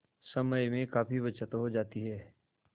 समय में काफी बचत हो जाती है